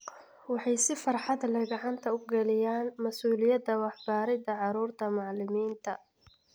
Waxay si farxad leh gacanta u galiyaan mas'uuliyadda waxbaridda carruurta macallimiinta.